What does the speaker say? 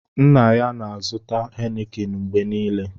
Nna ya na-azụta hénịkịn mgbe niile